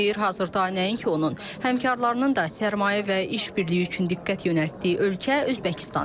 Deyir, hazırda nəinki onun, həmkarlarının da sərmayə və iş birliyi üçün diqqət yönəltdiyi ölkə Özbəkistandır.